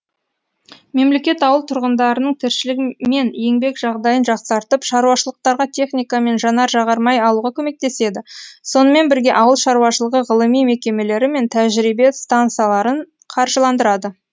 мемлекет ауыл тұрғындарының тіршілігі мен еңбек жағдайын жақсартып шаруашылықтарға техника мен жанар жағармай алуға көмектеседі сонымен бірге ауыл шаруашылығы ғылыми мекемелері мен тәжірибе стансаларын қаржыландырады